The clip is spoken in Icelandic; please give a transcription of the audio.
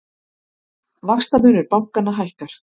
Vaxtamunur bankanna hækkar